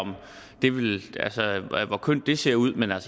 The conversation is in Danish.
hvor kønt det ser ud men